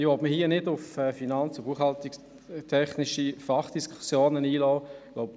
– Ich möchte mich nicht auf finanz- und buchhaltungstechnische Fachdiskussionen einlassen.